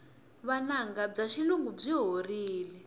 vunanga bya xilungu byi horile